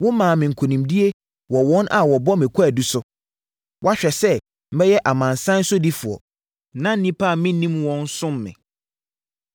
“Womaa me nkonimdie wɔ wɔn a wɔbɔ me kwaadu so. Woahwɛ sɛ mɛyɛ amanaman sodifoɔ; na nnipa a mennim wɔn som me.